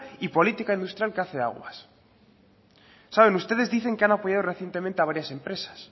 y política industrial que hace aguas ustedes dicen que han apoyado recientemente a varias empresas